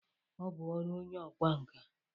Ọ bụ ọrụ onye ọkwa nka